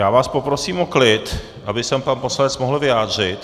Já vás poprosím o klid, aby se pan poslanec mohl vyjádřit.